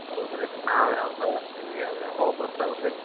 ಹೌದ್ರಿ ನಾವ್ ಯಾವ್ದೊ ಹಾಕ್ತೇವಿ ಅವ್ ಯಾವೋ ಬರ್ತಾವ್ರಿ.